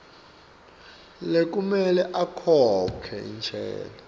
lekumele akhokhe intsela